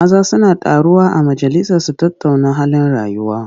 Maza suna taruwa a majalisa su tattauna halin rayuwa.